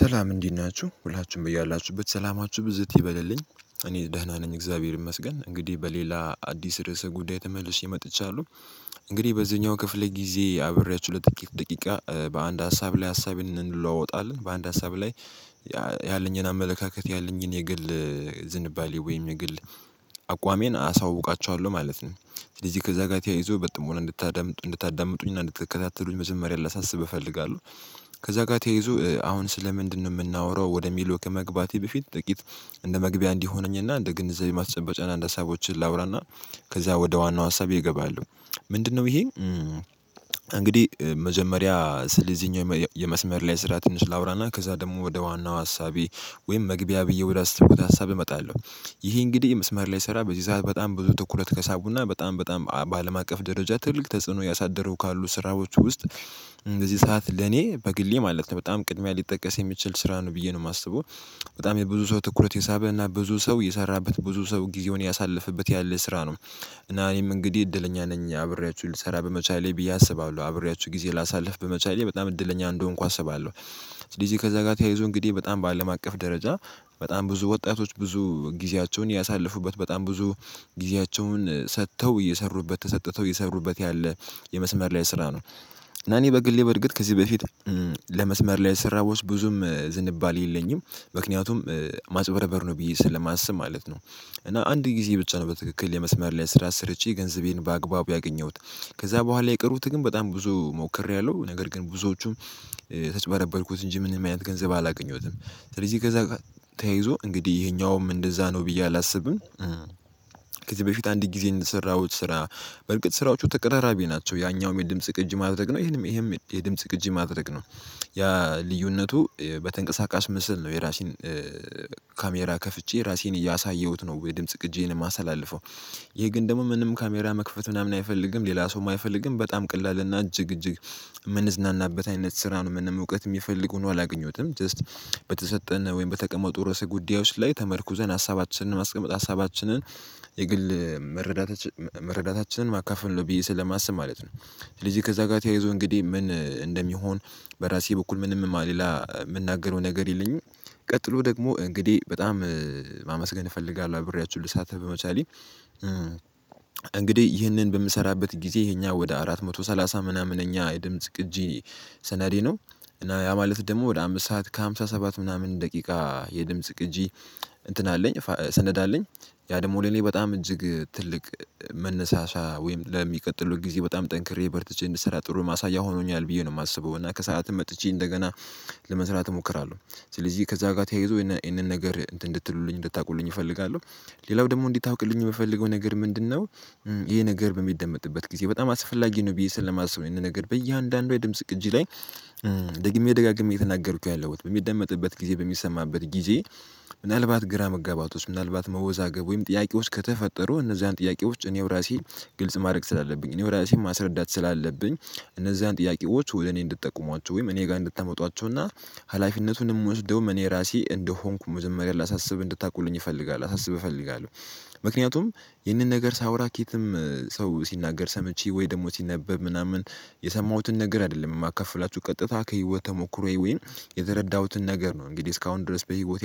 ሰላም እንዴት ናችሁ ሁላችሁም በያላችሁበት ሰላማችሁ ብዝት ይበልልኝ እኔ ደህና ነኝ እግዚአብሔር ይመስገን እንግዲህ በሌላ አዲስ ርዕሰ ጉዳይ ተመልሼ መጥቻለሁ። እንግዲህ በዚህኛው ክፍለ ጊዜ አብሬያችሁ ለጥቂት ደቂቃ በአንድ ሀሳብ ላይ ሀሳብ እንለዋወጣለን በአንድ ሀሳብ ላይ ያለኝን አመለካከት ያለኝን የግል ዝንባሌ ወይም የግል አቋሜን አሳውቃቸዋለሁ ማለት ነው። ስለዚህ ከዛ ጋር ተያይዞ በጥሞና እንድታዳምጡ እንድታዳምጡኝና እንድትከታተሉኝ መጀመርያ ላሳስብ እፈልጋለሁ። ከዛ ጋር ተያይዞ አሁን ስለ ምንድነው የምናወራው ወደሚለው ከመግባቴ በፊት ጥቂት እንደመግቢያ እንዲሆነኝና እንደ ግንዘቤ ማስጨበጫና እንደ ሀሳቦችን ላውራና ከዛ ወደ ዋናው ሀሳቤ እገባለው። ምንድነው ይሄ? እንግዲህ መጀመሪያ ስለዚህኛው የመስመር ላይ ስራ ትንሽ ላውራና ከዛ ደግሞ ወደ ዋናው አሳቤ ወይም መግቢያ ብዬ ወደ አሰብኩት ሀሳብ እመጣለሁ። ይሄ እንግዲህ መስመር ላይ ስራ በዚህ ሰዓት በጣም ብዙ ትኩረት ከሳቡና በጣም በጣም በአለም አቀፍ ደረጃ ትልቅ ተጽዕኖ ያሳደረው ካሉ ስራዎች ውስጥ እንደዚህ ሰዓት ለኔ በግሌ ማለት ነው በጣም ቅድሚያ ሊጠቀስ የሚችል ስራ ነው ብዬ ነው የማስበው። በጣም የብዙ ሰው ትኩረት የሳበ እና ብዙ ሰው የሰራበት ብዙ ሰው ጊዜውን ያሳለፈበት ያለ ስራ ነው። እና እኔም እንግዲህ እድለኛ ነኝ አብሬያችሁ ልሰራ በመቻሌ ብዬ አስባለሁ አብሬያችሁ ጊዜ ላሳልፍ በመቻሌ በጣም እድለኛ እንደሆንኩ አስባለሁ። ስለዚህ ከዛ ጋር ተያይዞ እንግዲህ በጣም በአለም አቀፍ ደረጃ በጣም ብዙ ወጣቶች ብዙ ጊዜያቸውን ያሳለፉበት በጣም ብዙ ጊዜያቸውን ሰጥተው እየሰሩበት ተሰጥተው የሰሩበት ያለ የመስመር ላይ ስራ ነው። እና እኔ በግሌ በርግጥ ከዚህ በፊት ለመስመር ላይ ስራ ውስጥ ብዙም ዝንባሌ የለኝም። ምክንያቱም ማጭበርበር ነው ብዬ ስለማስብ ማለት ነው። እና አንድ ጊዜ ብቻ ነው በትክክል የመስመር ላይ ስራ ሰርቼ ገንዘቤን በአግባቡ ያገኘሁት። ከዛ በኋላ የቀሩት ግን በጣም ብዙ ሞክሬያለሁ ነገር ግን ብዙዎቹም ተጭበረበርኩት እንጂ ምንም አይነት ገንዘብ አላገኘሁትም። ስለዚህ ከዛ ተያይዞ እንግዲህ ይሄኛውም እንደዛ ነው ብዬ አላስብም። ከዚህ በፊት አንድ ጊዜ እንደሰራሁት ስራ በርግጥ ስራዎቹ ተቀራራቢ ናቸው ያኛው የድምጽ ቅጅ ማድረግ ነው ይሄም ይሄም የድምጽ ቅጅ ማድረግ ነው። ያ ልዩነቱ በተንቀሳቃሽ ምስል ነው የራሴን ካሜራ ከፍቼ ራሴን እያሳየሁት ነው የድምጽ ቕጄን የማሳልፈው። ይሄ ግን ደግሞ ምንም ካሜራ መክፈት ምናምን አይፈልግም ሌላ ሰውም አይፈልግም በጣም ቅላልና እጅግ እጅግ የምንዝናናበት አይነት ስራ ነው። ምንም እውቀት የሚፈልጉ ነው አላገኘሁትም ጀስት በተሰጠን ወይም በተቀመጡ ርዕሰ ጉዳዮች ላይ ተመርኩዘን ሀሳባችንን ማስቀመጥ ሀሳባችንን የግል መረዳታችንን መረዳታችንን ማካፈል ነው ብዬ ስለማስብ ማለት ነው። ስለዚህ ከዛ ጋር ተያይዞ እንግዲህ ምን እንደሚሆን በራሴ በኩል ምንም ሌላ የምናገረው ነገር የለኝም። ቀጥሎ ደግሞ እንግዲህ በጣም ማመስገን እፈልጋለሁ አብሬያችሁ ልሳተህ በመቻሌ። እንግዲህ ይህንን በምሰራበት ጊዜ ይሄኛው ወደ አራት መቶ ሰላሳ ምናምን እኛ የድምጽ ግጂ ሰነዴ ነው። እና ያ ማለት ደግሞ ወደ አምስት ሰዓት ከሃምሳ ሰባት ምናምን ደቂቃ የድምጽ ቅጂ እንትን አለኝ ሰነድ አለኝ። ያ ደግሞ ለኔ በጣም እጅግ ትልቅ መነሳሻ ወይም ለሚቀጥለው ጊዜ በጣም ጠንክሬ በርተቼ እንድሰራ ጥሩ ማሳያ ሆኖኛል ብዬ ነው የማስበው እና ከሰአትም መጥቼ እንደገና ለመስራት እሞክራለሁ። ስለዚህ ከዛ ጋር ተያይዞ ይሄንን ነገር እንድትሉልኝ እንድታውቁልኝ እፈልጋለሁ። ሌላው ደግሞ እንዲህ ታውቅልኝ የምፈልገው ነገር ምንድነው? ይሄ ነገር በሚደመጥበት ጊዜ በጣም አስፈላጊ ነው ብዬ ስለማስበው ይሄንን ነገር በእያንዳንዷ የድምጽ ቅጂ ላይ ደግሜ ደጋግሜ የተናገርኩት ያለሁት በሚደመጥበት ጊዜ በሚሰማበት ጊዜ። ምናልባት ግራ መጋባቶች ምናልባት መወዛገብ ወይም ጥያቄ ውስጥ ከተፈጠሩ እነዛን ጥያቄ ውስጥ እኔው ራሴ ግልጽ ማድረግ ስላለብኝ እኔ ወደ ራሴ ማስረዳት ስላለብኝ። እነዛን ጥያቄዎች ወደ እኔ እንድትጠቁሟቸው ወይም እኔ ጋር እንድታመጧቸው እና ሀላፊነቱን የምወስደው እኔ ራሴ እንደሆንኩ ምንም ነገር ላሳስብ እንድታውቁልኝ እፈልጋለሁ ላሳስብ እፈልጋለሁ። ምክንያቱም ይህንን ነገር ሳወራ ከትም ሰው ሲናገር ሰምቼ ወይ ደግሞ ሲነበብ ምናምን የሰማሁትን ነገር አይደለም የማከፍላችሁ ቀጥታ ከህይወት ተሞክሮ ወይም የተረዳሁትን ነገር ነው እንግዲህ እስካሁን ድረስ በህይወት